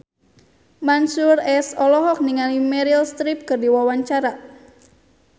Mansyur S olohok ningali Meryl Streep keur diwawancara